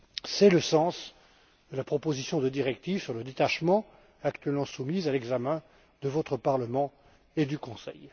C'est le sens de la proposition de directive sur le détachement, actuellement soumise à l'examen de votre Parlement et du Conseil.